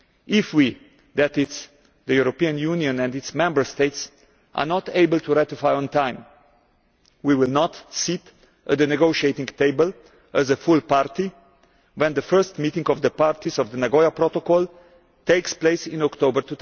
If we that is, the European Union and its Member States are not able to ratify on time, we will not sit at the negotiating table as a full party when the first meeting of the parties of the Nagoya Protocol takes place in October